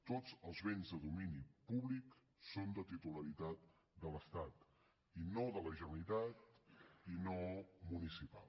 tots els béns de domini públic són de titularitat de l’estat i no de la generalitat i no municipal